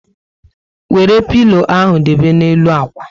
Wéré pilo ahụ debe na n'elu ákwà